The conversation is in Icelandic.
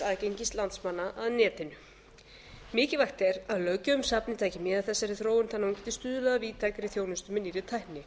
aðgengis landsmanna að netinu mikilvægt er að löggjöf um safnið taki mið af þessari þróun þannig að hún geti stuðlað að víðtækri þjónustu með nýrri tækni